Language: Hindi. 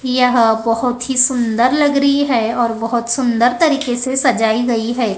यह बहोत ही सुंदर लग रही है और बहोत सुंदर तरीके से सजाई गई है।